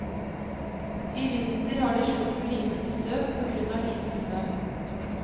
I vinter har de slitt med lite besøk på grunn av lite snø.